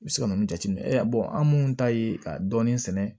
I bɛ se ka mun jateminɛ an minnu ta ye ka dɔɔnin sɛnɛ